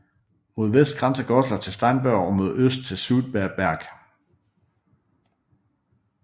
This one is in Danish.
Mod vest grænser Goslar til Steinberg og mod øst til Sudmerberg